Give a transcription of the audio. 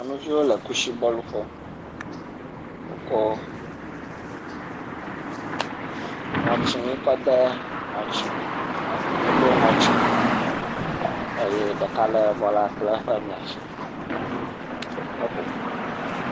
Nyɔnuviwo le kusi bɔl ƒom, woko ŋɔtsinui kɔ de ŋɔtsinu, woɖo ŋɔtsinui eye ɖeka lé bɔla kple eƒe mia tsi heƒoƒo.